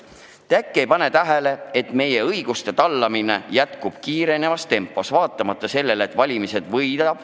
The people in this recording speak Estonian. Te äkki ei pane tähele, et meie õiguste jalge alla tallamine jätkub kiirenevas tempos, olenemata sellest, kes valimised võidab.